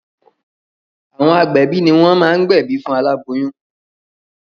Àwọn agbẹ̀bí ní wọ́n máá gbẹ̀bí fún aláboyún.